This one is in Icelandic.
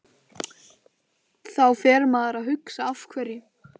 Þá fer maður að hugsa Af hverju?